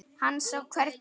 Hann sá hvernig